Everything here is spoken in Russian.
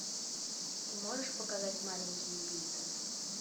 ты можешь показать маленький убийца